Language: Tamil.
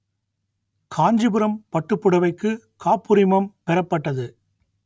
காஞ்சிபுரம் பட்டுப்புடவைக்கு காப்புரிமம் பெறப்பட்டது